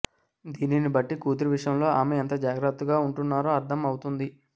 దీనిని బట్టి కూతురి విషయంలో ఆమె ఎంత జాగ్రత్తగా ఉంటున్నారో అర్ధం అవుతుంది